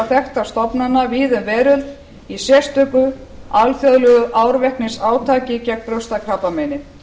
þekktra stofnana víða um veröld í sérstöku alþjóðlegu árveknisátaki gegn brjóstakrabbameini